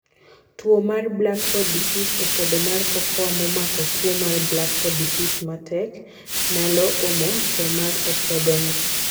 Tuo mar black pod disease: opodo mar cocoa momako tuo mar black pod disease matek naylo omo thoo mar opodo no.